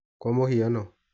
kwa mũhiano.